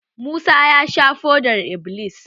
Musa ya sha fodar-iblis.